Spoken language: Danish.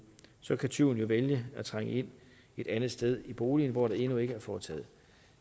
så kan tyven jo vælge at trænge ind et andet sted i boligen hvor der endnu ikke er foretaget